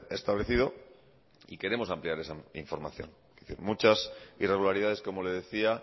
establecido y queremos ampliar esa información muchas irregularidades como le decía